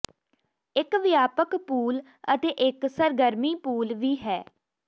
ਇਕ ਵਿਆਪਕ ਪੂਲ ਅਤੇ ਇਕ ਸਰਗਰਮੀ ਪੂਲ ਵੀ ਹੈ